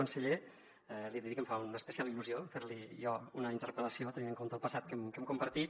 conseller li he de dir que em fa una especial il·lusió fer li jo una interpel·lació tenint en compte el passat que hem compartit